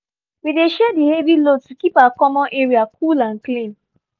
we dey share di heavy load to keep our common area cool and clean